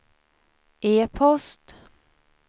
e-post